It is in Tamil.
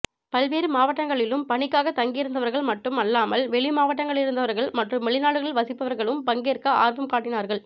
பல்வேறு மாவட்டங்களிலும் பணிக்காகத் தங்கியிருந்தவர்கள் மட்டும் அல்லாமல் வெளி மாநிலங்களிலிருந்தவர்கள் மற்றும் வெளிநாடுகளில் வசிப்பவர்களும் பங்கேற்க ஆர்வம் காட்டினார்கள்